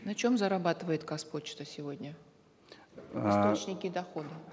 на чем зарабатывает казпочта сегодня источники дохода